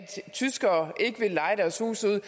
tyskere ikke vil leje deres huse ud